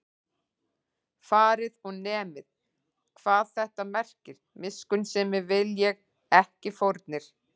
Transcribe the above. Farið og nemið, hvað þetta merkir: Miskunnsemi vil ég, ekki fórnir